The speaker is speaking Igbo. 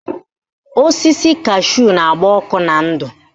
Osisi kashu na-agba ọkụ na ndụ